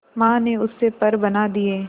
मां ने उससे पर बना दिए